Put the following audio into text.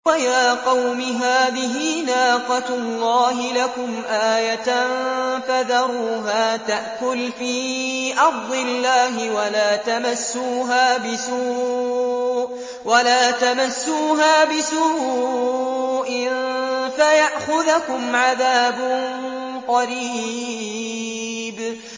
وَيَا قَوْمِ هَٰذِهِ نَاقَةُ اللَّهِ لَكُمْ آيَةً فَذَرُوهَا تَأْكُلْ فِي أَرْضِ اللَّهِ وَلَا تَمَسُّوهَا بِسُوءٍ فَيَأْخُذَكُمْ عَذَابٌ قَرِيبٌ